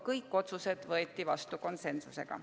Kõik otsused võeti vastu konsensusega.